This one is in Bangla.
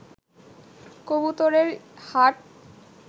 কবুতরের হাট